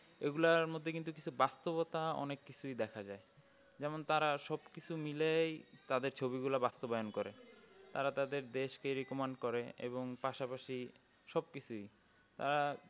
ওইগুলার মধ্যে কিন্তু কিছু বাস্তবতা অনেক কিছুই দেখা যাই যেমন তার সব কিছু মিলেই তাদের ছবি গুলা বাস্তবায়ন করে তারা তাদের দেশ কে recommend করে এবং পাশাপাশি ওসব কিছুই তারা